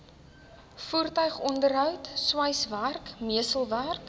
voertuigonderhoud sweiswerk messelwerk